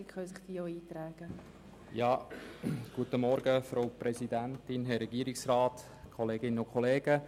Wenn es Einzelsprecher gibt, können sich diese nun in die Rednerliste eintragen.